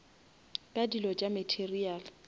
ka dilo tša material